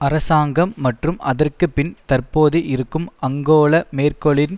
அரசாங்கம் மற்றும் அதற்கு பின் தற்போது இருக்கும் அங்கேலா மேர்க்கெலின்